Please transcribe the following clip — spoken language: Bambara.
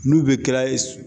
N'u bɛ kɛra